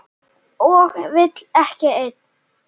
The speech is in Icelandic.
Og vill ekki enn.